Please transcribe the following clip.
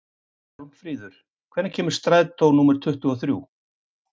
Hjálmfríður, hvenær kemur strætó númer tuttugu og þrjú?